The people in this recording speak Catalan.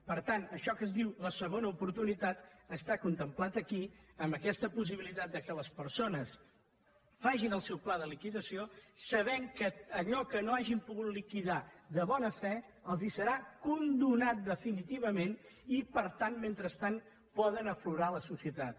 per tant això que es diu la segona oportunitat està contemplat aquí amb aquesta possibilitat que les persones facin el seu pla de liquidació sabent que allò que no hagin pogut liquidar de bona fe els serà condonat definitivament i per tant mentrestant poden fer aflorar la societat